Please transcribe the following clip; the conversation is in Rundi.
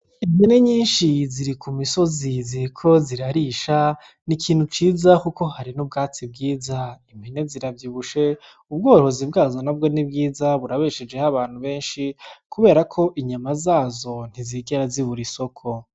Impene nyinshi ziri kumisozi ziriko zirarisha n'ikintu ciza kuko hari n'ubwatsi bwiza. Impene ziravyibushe ubworozi bwazo nabwo nibwiza burabeshejeho abantu benshi kuberako inyama zazo ntizigera zibura isoko.